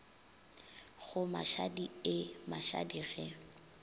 go mashadi eh mashadi ge